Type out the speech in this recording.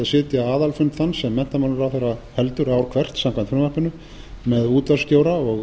sitja aðalfund þann sem menntamálaráðherra heldur ár hvert með útvarpsstjóra og